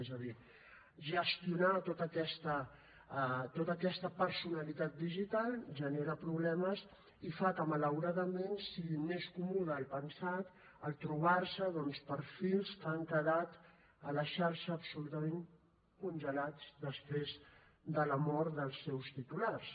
és a dir gestionar tota aquesta personalitat digital genera problemes i fa que malauradament sigui més comú del pensat trobar se doncs perfils que han quedat a la xarxa absolutament congelats després de la mort dels seus titulars